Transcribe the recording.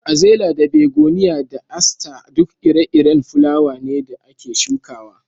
Azela da Begoniya da Aster duk ire-iren fulawa ne da ake shukawa.